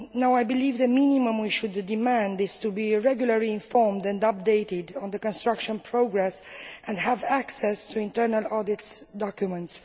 I believe the minimum we should demand is to be regularly informed and updated on the construction progress and have access to internal audit documents.